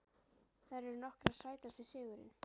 Þær eru nokkrar Sætasti sigurinn?